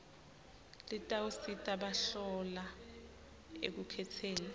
litawusita bahlolwa ekukhetseni